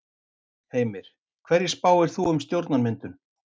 Heimir: Hverju spáir þú um stjórnarmyndun?